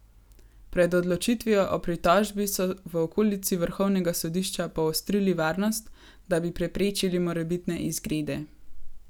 Pred odločitvijo o pritožbi so v okolici vrhovnega sodišča poostrili varnost, da bi preprečili morebitne izgrede.